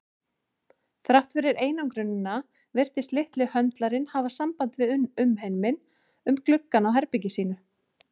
Þrátt fyrir einangrunina virtist litli höndlarinn hafa samband við umheiminn um gluggann á herbergi sínu.